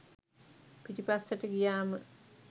පිටිපස්සට ගියාම